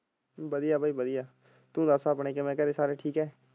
ਵਧੀਆ ਬਾਈ ਵਧੀਆ ਤੂੰ ਦਸ ਆਪਣੇ ਕਿਵੇਂ ਘਰੇ ਸਾਰੇ ਠੀਕ ਹੈ?